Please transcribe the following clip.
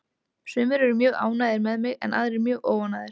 Sumir eru mjög ánægðir með mig en aðrir mjög óánægðir.